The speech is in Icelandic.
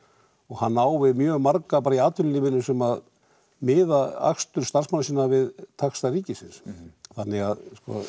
hann á við mjög marga í atvinnulífinu sem miða akstur starfsmanna sinna við taxta ríkisins þannig að